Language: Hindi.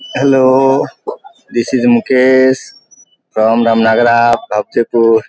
hello this is Mukesh from पुर --